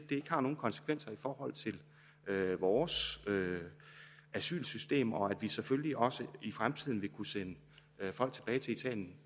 ikke har nogen konsekvenser i forhold til vores asylsystem og at vi selvfølgelig også i fremtiden vil kunne sende folk tilbage til italien